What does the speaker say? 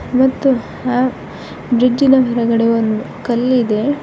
ಮತ್ತು ಆ ಬ್ರಿಡ್ಜ್ ಇನ ಹೊರಗಡೆ ಒಂದು ಕಲ್ಲಿದೆ